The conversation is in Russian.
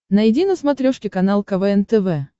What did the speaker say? найди на смотрешке канал квн тв